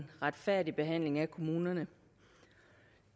retfærdig behandling af kommunerne